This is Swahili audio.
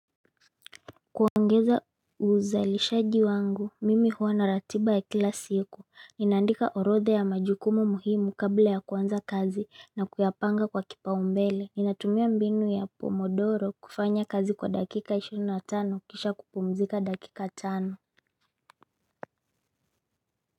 Kuongeza uzalishaji wangu mimi huwa na ratiba ya kila siku ninaandika orodha ya majukumu muhimu kabla ya kuanza kazi na kuyapanga kwa kipaumbele Ninatumia mbinu ya pomodoro kufanya kazi kwa dakika ishiri na tano kisha kupumzika dakika tano.